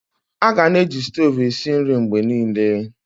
Aga-na eji stovu esi nri mgbe niile.